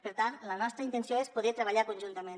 per tant la nostra intenció és poder treballar conjuntament